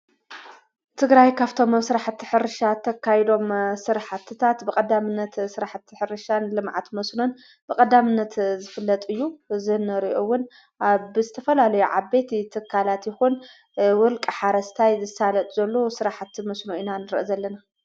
እትግራይ ካፍቶም ኣብ ሥራሕ እተ ሕርሻ ተካይዶም ሥርሕ ትታት ብቐዳምነት ሥራሕ እተሕርሻን ልመዓት መስኑን ብቐዳምነት ዘፍለጥዩ ዘህነርዑውን ኣ ብዝተፈላሉ ዓበት ትካላት ይኹን ውልቂ ሓረስታይ ዘሳለጥ ዘሉ ሥራሕቲ መስኑ ኢናንረአ ዘለና።